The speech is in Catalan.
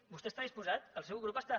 vostè hi està disposat el seu grup està